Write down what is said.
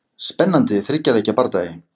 Spennandi þriggja leikja bardagi.